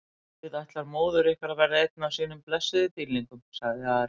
Guð ætlar móður ykkar að verða einn af sínum blessuðum dýrlingum, sagði Ari.